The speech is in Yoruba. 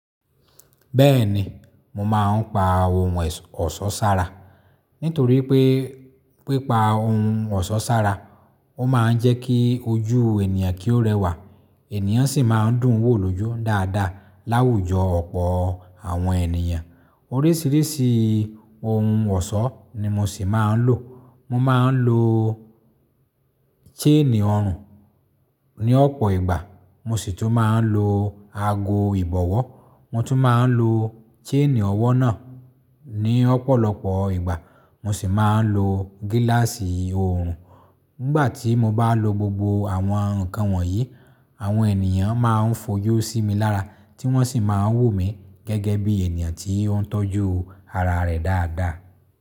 Bẹ́ẹ̀ni, mo máa ń pa ohùn ọ̀ṣọ́ sára. Nítorí pé, pipa ohùn ọ̀ṣọ́ sára, ó máa ń jẹ́ kí ojú ènìyàn kí ó rẹwà. Ẹ̀nìyàn sì máa ń dùn wò lójú dáadáa láwùjọ ọ̀pọ̀ àwọn ènìyàn. Oríṣìíríṣìí ohùn ọ̀ṣọ́ ni mo sì máa ń lò. Mo máa ń lo chain orun ní ọ̀pọ̀ ìgbà. Mo sì tún máa ń lo ago ìbọ̀wọ́. Mo tún máa ń lo chain ọwọ́ náà ní ọ̀pọ̀lọpọ̀ ìgbà. Mo sì máa ń lo gíláàsì òòrùn. Nígbà tí mo bá lo gbogbo àwọn ǹkan wọ̀nyí, àwọn ènìyàn máa ń fojú sí mi lára, tí wọ́n sì máa ń wò mí gẹ́gẹ́ bí ènìyàn tí ó ń tọ́jú ara rẹ̀ dáadáa.